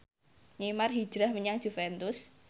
Neymar hijrah menyang Juventus